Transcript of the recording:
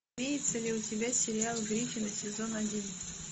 имеется ли у тебя сериал гриффины сезон один